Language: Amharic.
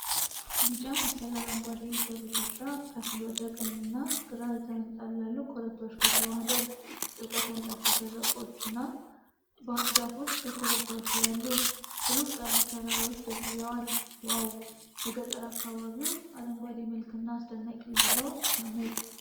ቢጫ መሳይ አረንጓዴ የሰብል እርሻ ከፊል ወደ ቀኝና ግራ የተንጣለሉ ኮረብታዎች ጋር ተዋህዷል። ጥልቀት ያላቸው ሸለቆዎችና ዛፎች በኮረብታዎች ላይ አሉ። ሩቅ ያሉት ተራራዎች ደብዝዘዋል። "ዋው! የገጠር አካባቢው አረንጓዴ መልክና አስደናቂ እይታው ሲያምር!"